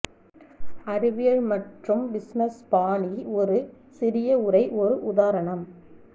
அறிவியல் மற்றும் பிஸினஸ் பாணி ஒரு சிறிய உரை ஒரு உதாரணம்